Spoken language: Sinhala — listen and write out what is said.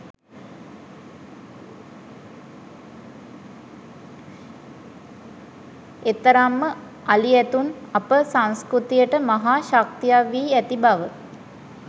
එතරම්ම අලි ඇතුන් අප සංස්කෘතියට මහා ශක්තියක් වී ඇති බව